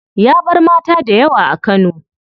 Ya bar mata daya a kano.